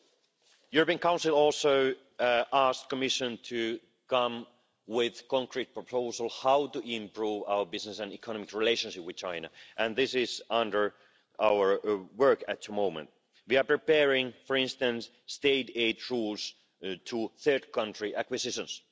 The European Council also asked the Commission to come with concrete proposals on how to improve our business and economic relationship with China, and this is under our work at the moment. We are preparing, for instance, state aid rules to third country acquisitions.